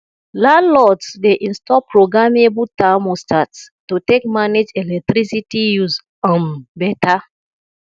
landlords dey install programmable thermostats to take manage electricity use um beta